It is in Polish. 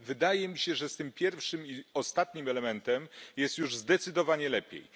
Wydaje mi się, że z pierwszym i ostatnim elementem jest już zdecydowanie lepiej.